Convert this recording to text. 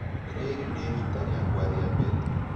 Rĩĩrĩ nĩ riita rĩakwa rĩa mbere.